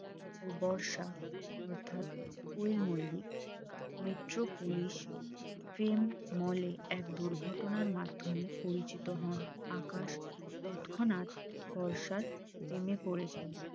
ও বর্ষা অর্থাৎ Koel Mallick metro police ফ্রেম mall এ এক দুর্ঘটনার মাধ্যমে পরিচিত হন আকাশ তৎক্ষণাৎ বর্ষার প্রেমে পড়ে যায়